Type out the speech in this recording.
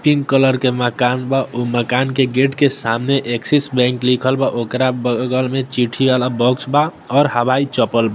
Pink colour के मकान बा ओय मकान के गेट के सामने एक्सिस बैंक लिखल बा ओकरा बगल में चिट्ठी वाला बॉक्स बा और हवाई चप्पल बा।